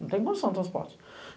Não tem condição no transporte.